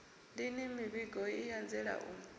lini mivhigo i anzela u